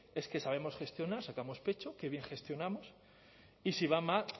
es que sabemos gestionar sacamos pecho que bien gestionamos y si va mal